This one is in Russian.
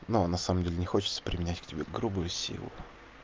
но на самом деле не хочется применять к тебе грубую силу